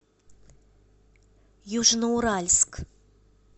южноуральск